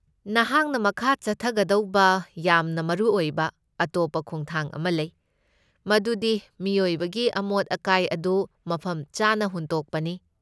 ꯅꯍꯥꯛꯅ ꯃꯈꯥ ꯆꯠꯊꯒꯗꯧꯕ ꯌꯥꯝꯅ ꯃꯔꯨꯑꯣꯏꯕ ꯑꯇꯣꯞꯄ ꯈꯣꯡꯊꯥꯡ ꯑꯃ ꯂꯩ, ꯃꯗꯨꯗꯤ ꯃꯤꯑꯣꯏꯕꯒꯤ ꯑꯃꯣꯠ ꯑꯀꯥꯏ ꯑꯗꯨ ꯃꯐꯝꯆꯥꯅ ꯍꯨꯟꯗꯣꯛꯄꯅꯤ꯫